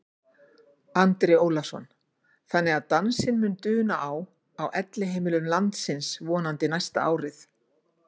Andri Ólafsson: Þannig að dansinn mun duna á, á elliheimilum landsins vonandi næsta árið?